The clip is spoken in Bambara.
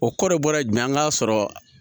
O kɔrɔ ye bɔra ye jumɛn ye an ka sɔrɔ